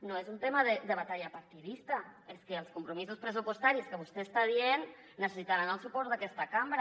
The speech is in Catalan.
no és un tema de batalla partidista és que els compromisos pressupostaris que vostè està dient necessitaran el suport d’aquesta cambra